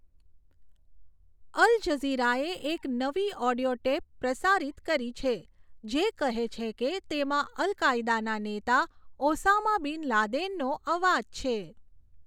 અલજઝીરાએ એક નવી audio tape પ્રસારિત કરી છે, જે કહે છે કે તેમાં અલ કાયદાના નેતા ઓસામા બિન લાદેનનો અવાજ છે.